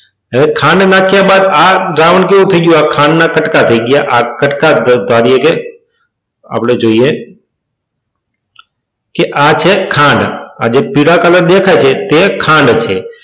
હવે ખાંડ નાખ્યા બાદ આ દ્રાવણ કેવું થઈ ગયું તો ખાંડના કટકા થઈ ગયા આ કટકા ધારીએ કે આપણે જોઈએ કે આજે ખાંડ આજે પીળા કલર દેખાય છે તે ખાંડ છે.